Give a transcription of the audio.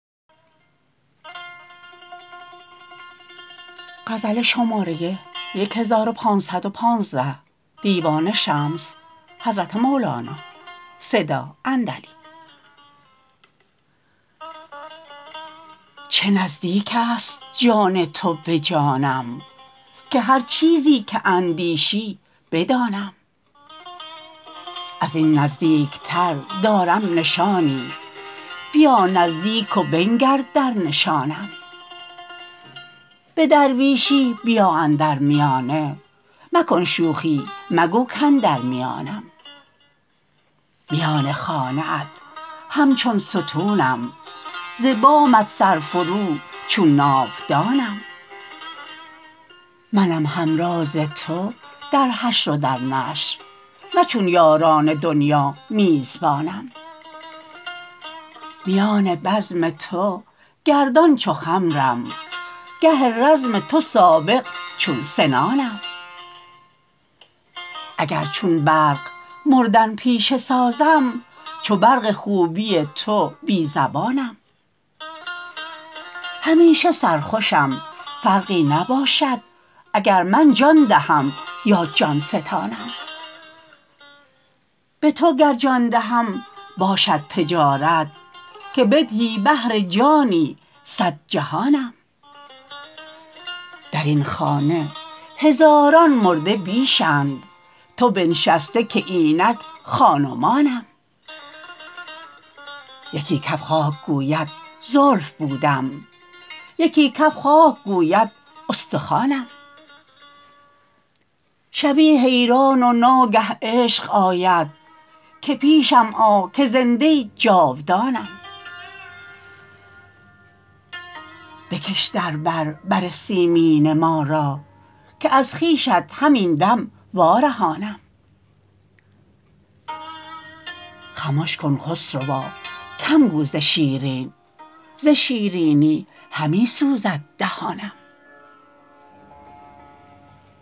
چه نزدیک است جان تو به جانم که هر چیزی که اندیشی بدانم از این نزدیکتر دارم نشانی بیا نزدیک و بنگر در نشانم به درویشی بیا اندر میانه مکن شوخی مگو کاندر میانم میان خانه ات همچون ستونم ز بامت سرفرو چون ناودانم منم همراز تو در حشر و در نشر نه چون یاران دنیا میزبانم میان بزم تو گردان چو خمرم گه رزم تو سابق چون سنانم اگر چون برق مردن پیشه سازم چو برق خوبی تو بی زبانم همیشه سرخوشم فرقی نباشد اگر من جان دهم یا جان ستانم به تو گر جان دهم باشد تجارت که بدهی بهر جانی صد جهانم در این خانه هزاران مرده بیش اند تو بنشسته که اینک خان و مانم یکی کف خاک گوید زلف بودم یکی کف خاک گوید استخوانم شوی حیران و ناگه عشق آید که پیشم آ که زنده جاودانم بکش در بر بر سیمین ما را که از خویشت همین دم وارهانم خمش کن خسروا هم گو ز شیرین ز شیرینی همی سوزد دهانم